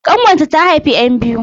ƙanwata ta haifi 'yan biyu